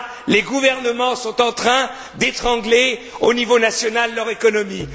les gouvernements sont déjà en train d'étrangler, au niveau national, leur économie.